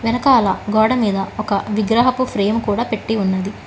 వెనకాల గోడమీద ఒక విగ్రహపు ఫ్రేమ్ కూడా పెట్టి ఉన్నది.